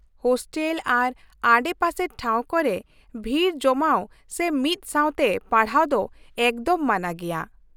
Hostel ᱟᱨ ᱟᱰᱮᱯᱟᱥᱮ ᱴᱷᱟᱶ ᱠᱚᱨᱮ, ᱵᱷᱤᱲ ᱡᱚᱢᱟᱣ ᱥᱮ ᱢᱤᱫ ᱥᱟᱶᱛᱮ ᱯᱟᱲᱦᱟᱣ ᱫᱚ ᱮᱠᱫᱚᱢ ᱢᱟᱱᱟ ᱜᱮᱭᱟ ᱾